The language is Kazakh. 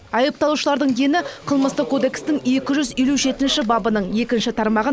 айыпталушылардың дені қылмыстық кодекстің екі жүз елу жетінші бабының екінші тармағын